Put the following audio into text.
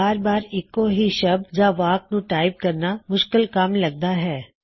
ਬਾਰ ਬਾਰ ਇੱਕੋ ਹੀ ਸ਼ਬਦ ਜਾਂ ਵਾਕ ਨੂੰ ਟਾਇਪ ਕਰਨਾ ਮੁੱਸ਼ਕਲ ਕੱਮ ਲਗਦਾ ਹੈ